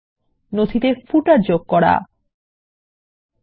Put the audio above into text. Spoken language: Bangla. নথিতে কিভাবে পাদলেখ যোগ করা যায়